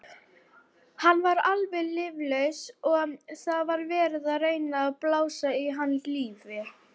Hann var alveg líflaus og það var verið að reyna að blása í hann lífi.